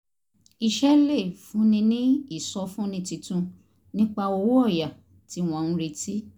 iṣẹ́ lè fúnni ní ìsọfúnni tuntun nípa owó ọ̀yà tí wọ́n ń retí